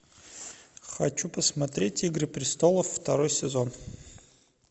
хочу посмотреть игры престолов второй сезон